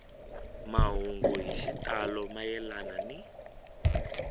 mahungu hi xitalo mayelana ni